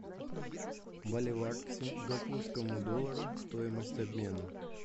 боливар к сингапурскому доллару стоимость обмена